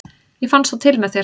ég fann svo til með þér!